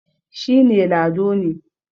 shi ne Lado ne